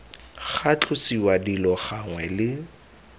ga tlosiwa dilo gangwe le